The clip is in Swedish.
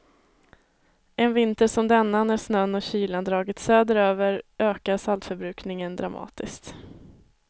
En vinter som denna, när snön och kylan dragit söderöver, ökar saltförbrukningen dramatiskt.